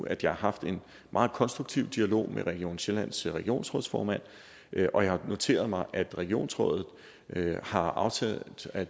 at jeg har haft en meget konstruktiv dialog med region sjællands regionsrådsformand og jeg har noteret mig at regionsrådet har aftalt at